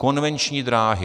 Konvenční dráhy.